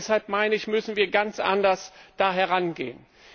Deshalb meine ich, müssen wir da ganz anders herangehen.